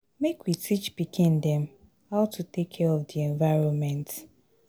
Make we teach pikin dem how to take care of di environment.